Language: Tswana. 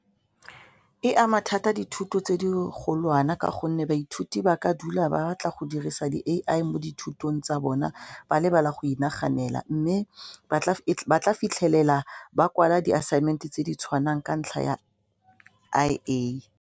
E ama thata dithuto tse di golwane ka gonne baithuti ba ka dula ba batla go dirisa di-A_I mo dithutong tsa bona ba lebala go inaganela mme ba tla fitlhelela ba kwala di-assignment-e tse di tshwanang ka ntlha ya I_A.